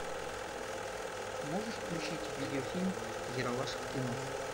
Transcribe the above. можешь включить видеофильм ералаш в кино